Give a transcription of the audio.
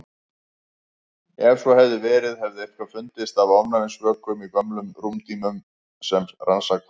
Ef svo hefði verið hefði eitthvað fundist af ofnæmisvökum í gömlum rúmdýnum sem rannsakaðar voru.